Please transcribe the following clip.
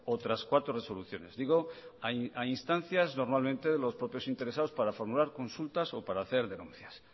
otras cuatro resoluciones digo a instancias normalmente de los propios interesados para formular consultas o para hacer denuncias